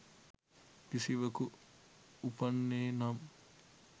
කිසිවකු උපන්නේ නම්